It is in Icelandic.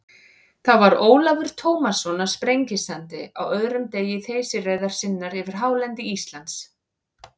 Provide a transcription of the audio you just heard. Þá var Ólafur Tómasson á Sprengisandi á öðrum degi þeysireiðar sinnar yfir hálendi Íslands.